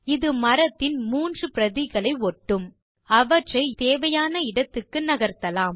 இது மரத்தின் மூன்று பிரதிகளை ஒட்டும் அவற்றை இப்போது தேவையான இடத்துக்கு நகர்த்தலாம்